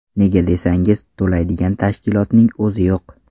Nega desangiz, to‘laydigan tashkilotning o‘zi yo‘q.